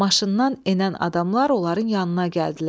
Maşından enən adamlar onların yanına gəldilər.